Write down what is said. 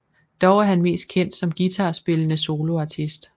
Dog er han mest kendt som guitarspillende soloartist